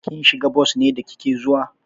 Kin shiga bos ne da kike zuwa?